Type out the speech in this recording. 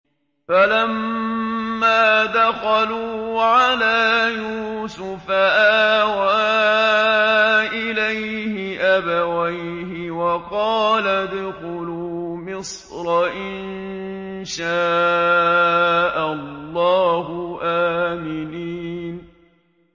فَلَمَّا دَخَلُوا عَلَىٰ يُوسُفَ آوَىٰ إِلَيْهِ أَبَوَيْهِ وَقَالَ ادْخُلُوا مِصْرَ إِن شَاءَ اللَّهُ آمِنِينَ